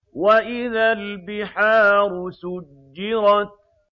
وَإِذَا الْبِحَارُ سُجِّرَتْ